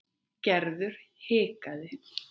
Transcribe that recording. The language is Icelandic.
Gerður hikaði.